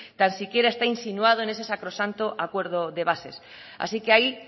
tan siquiera está insinuado en ese sacrosanto acuerdo de bases así que ahí